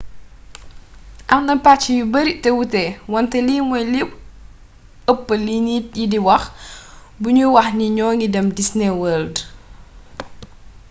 am na pàcc yu bari te wuute wante lii moy li ëp li nit yi di wax bu ñuy wax ni ño ngi dem disney world